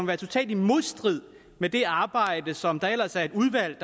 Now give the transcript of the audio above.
være totalt i modstrid med det arbejde som der ellers er et udvalg